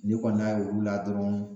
N'i kɔni n'a ye olu la dɔrɔn